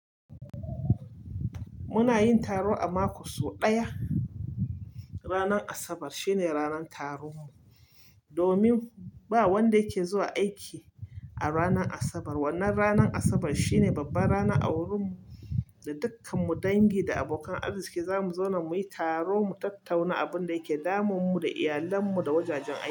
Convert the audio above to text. Muna yin taro a mako so ɗaya. Ranar Asabar shine ranar taron mu. Domin ba wanda yake zuwa aiki a ranar Asabar. Wannan ranar Asabar shine babbar ranar a wurin mu, da dukkan mu dangi da abokan arziki zamu zauna muyi taro mu tattauna abin da yake damun mu da iyalann mu da wajajen aiki.